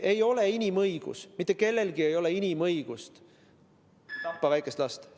Ei ole inimõigus, mitte kellegi inimõigus ei ole tappa väikest last.